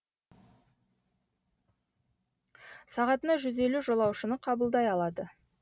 сағатына жүз елу жолаушыны қабылдай алады